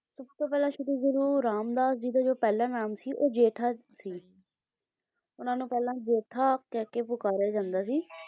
ਸਭਤੋਂ ਪਹਿਲਾ ਸ਼੍ਰੀ ਗੁਰੂ ਰਾਮਦਾਸ ਜੀ ਦਾ ਜੋ ਪਹਿਲਾ ਨਾਮ ਸੀ ਉਹ ਜੇਠਾ ਸੀ ਉਹਨਾਂ ਨੂੰ ਪਹਿਲਾਂ ਜੇਠਾ ਕਹਿਕੇ ਪੁਕਾਰਿਆ ਜਾਂਦਾ ਸੀ।